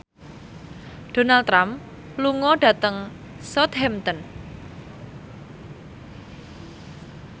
Donald Trump lunga dhateng Southampton